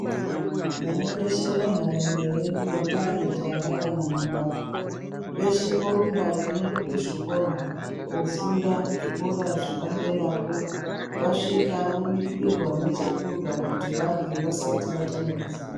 Vana veshe venharaunda yedu vangaa majaya kana mhandara veshe vorumba veiende kuzvikoro koofunda zvikora zvepaderapo. Vasvika vobikirwa nechekurya kuti varye vasati vatanga kufunda.